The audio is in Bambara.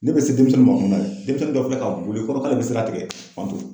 Ne be se denmisɛnninw ma kuma min na, denmisɛnni dɔ filɛ ka boli k'ale be sira tigɛ k'anw to